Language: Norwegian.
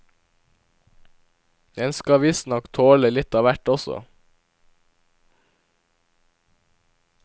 Den skal visstnok tåle litt av hvert også.